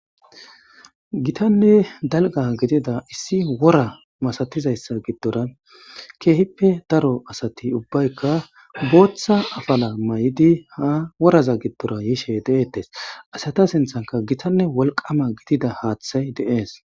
Gitanne dalga gidida issi wora masatizayssa giddora keehippe daro asati ubbaykka booththa afala may7idi ha woraza giddora yishe deeettes asata sinthanka gitanne wolqama gidida haaththay deees